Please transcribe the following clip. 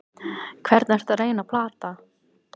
Hvern ertu að reyna að plata?